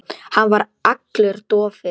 Hann var allur dofinn.